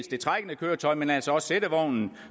det trækkende køretøj men altså også sættevognen